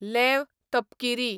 leave तपकिरी